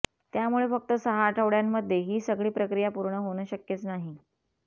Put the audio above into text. त्यामुळे फक्त सहा आठवड्यांमध्ये ही सगळी प्रक्रिया पूर्ण होणं शक्यच नाही